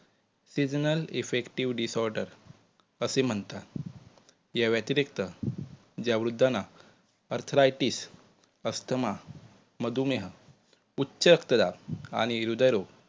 seasonal effective disorder असे म्हणतात. या व्यतिरिक्त ज्या वृद्धांना अर्थ्रायटिस, अस्थमा, मधुमेह, उच्च रक्तदाब आणि हृदय रोग